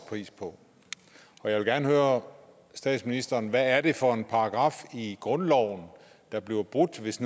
pris på jeg vil gerne høre statsministeren hvad er det for en paragraf i grundloven der bliver brudt hvis